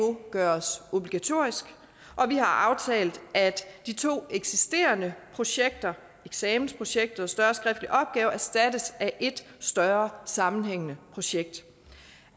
gøres obligatorisk og vi har aftalt at de to eksisterende projekter eksamensprojektet og større skriftlige opgaver erstattes af et større sammenhængende projekt